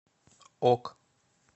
ок